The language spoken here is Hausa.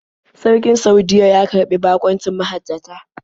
Sarkin Saudiyya ya karɓi baƙuncin mahajjata.